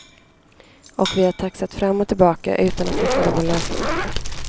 Och vi har taxat fram och tillbaka utan att hitta någon lösning.